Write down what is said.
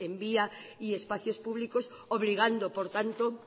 en vía y espacios públicos obligando por tanto